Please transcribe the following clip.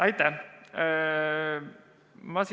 Aitäh!